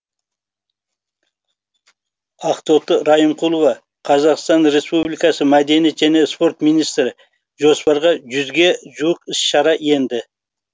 ақтоты райымқұлова қазақстан республикасы мәдениет және спорт министрі жоспарға жүзге жуық іс шара енді